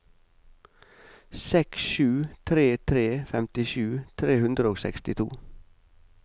seks sju tre tre femtisju tre hundre og sekstito